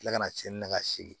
Tila kana tiɲɛni na ka segin